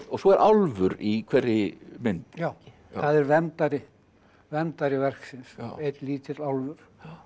svo er álfur í hverri mynd já það er verndari verndari verksins einn lítill álfur